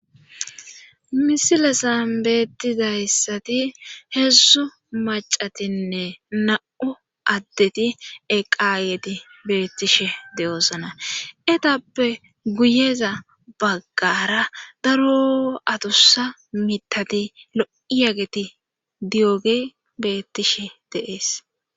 Misilesan beettizayssati heedzzu macatinne na7u addeti eqaayeti beettishe de7oosana etappe guyeza baggaara daroo adussa mittati lo7iyageti diyoge beettishe de7ees.